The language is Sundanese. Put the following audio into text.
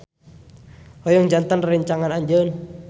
Hoyong janten rerencangan anjeun.